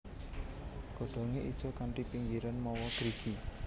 Godhongé ijo kanthi pinggirian mawa grigi